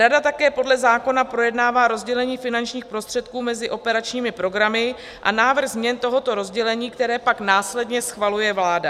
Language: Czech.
Rada také podle zákona projednává rozdělení finančních prostředků mezi operačními programy a návrh změn tohoto rozdělení, které pak následně schvaluje vláda.